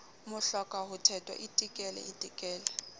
mohloka ho thetwa itekele itekele